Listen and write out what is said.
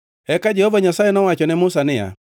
Eka Jehova Nyasaye nowacho ne Musa niya,